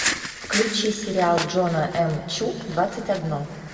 включи сериал джона эм чу двадцать одно